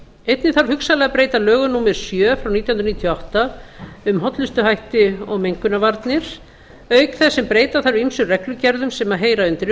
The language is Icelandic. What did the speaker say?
einnig þarf hugsanlega að breyta lögum númer sjö nítján hundruð níutíu og átta um hollustuhætti og mengunarvarnir auk þess sem breyta þarf ýmsum reglugerðum sem heyra undir